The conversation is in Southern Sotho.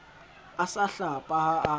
a sa hlapa ha a